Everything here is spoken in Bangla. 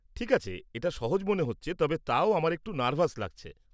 ঠিক আছে, এটা সহজ মনে হচ্ছে তবে তাও আমার একটু নার্ভাস লাগছে।